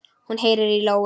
Hún heyrir í lóu.